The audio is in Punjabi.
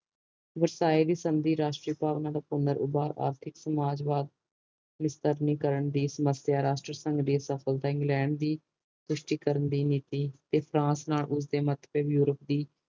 ਵਰਸਾਏ ਦੀ ਸੰਦੀ ਰਾਸ਼ਟਰੀ ਭਾਵਨਾਂ ਦਾ ਪੁਨਰ ਉਭਾਰ ਆਰਥਿਕ ਸਮਾਜਵਾਦ ਨਵੀਂਕਰਨ ਦੀ ਸਮੱਸਿਆ ਰਾਸ਼ਟਰੀ ਸੰਗ ਦੀ ਸਫ਼ਲਤਾ ਇੰਗਲੈਂਡ ਦੀ ਪੁਸ਼ਟਿਕਾਰਨ ਦੀ ਨੀਤੀ ਤੇ ਫ਼ਾਰਸ ਨਾਲ